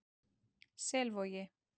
Selvogi